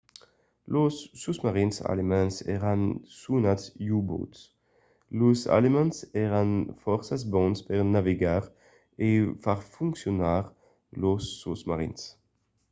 los sosmarins alemands èran sonats u-boats. los alemands èran fòrça bons per navegar e far foncionar lors sosmarins